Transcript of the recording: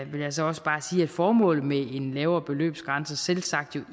jeg så også bare sige at formålet med en lavere beløbsgrænse selvsagt